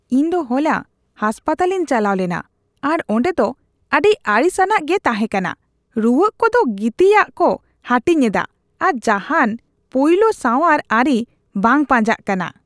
ᱤᱧ ᱫᱚ ᱦᱚᱞᱟ ᱦᱟᱥᱯᱟᱛᱟᱞᱤᱧ ᱪᱟᱞᱟᱣ ᱞᱮᱱᱟ ᱟᱨ ᱚᱸᱰᱮ ᱫᱚ ᱟᱹᱰᱤ ᱟᱹᱲᱤᱥᱼᱟᱱᱟᱜ ᱜᱮ ᱛᱟᱦᱮᱸᱠᱟᱱᱟ ᱾ ᱨᱩᱣᱟᱹᱜ ᱠᱚᱫᱚ ᱜᱤᱛᱤᱡᱼᱟᱜ ᱠᱚ ᱦᱟᱹᱴᱤᱧᱮᱫᱟ ᱟᱨ ᱡᱟᱦᱟᱱ ᱯᱳᱭᱞᱳ ᱥᱟᱸᱣᱟᱨ ᱟᱹᱨᱤ ᱵᱟᱝ ᱯᱟᱸᱡᱟᱜ ᱠᱟᱱᱟ ᱾